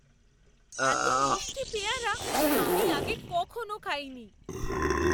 এত মিষ্টি পেয়ারা আমি আগে কখনও খাইনি!